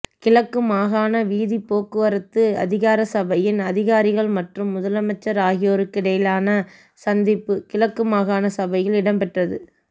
கிழக்கு மாகாண வீதிப்போக்குவரத்து அதிகார சபையின் அதிகாரிகள் மற்றும் முதலமைச்சர் ஆகியோருக்கிடையிலான சந்திப்பு கிழக்கு மாகாண சபையில் இடம்பெற்றது